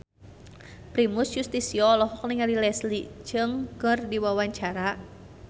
Primus Yustisio olohok ningali Leslie Cheung keur diwawancara